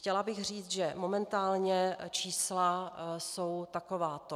Chtěla bych říci, že momentálně čísla jsou takováto.